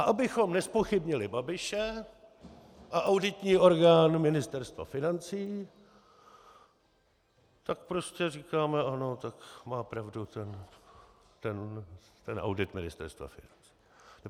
A abychom nezpochybnili Babiše a auditní orgán Ministerstva financí, tak prostě říkáme, ano, tak má pravdu ten audit Ministerstva financí.